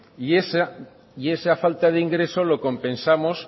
y esa falta de ingreso lo compensamos